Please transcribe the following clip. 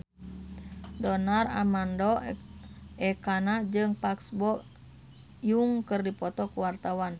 Donar Armando Ekana jeung Park Bo Yung keur dipoto ku wartawan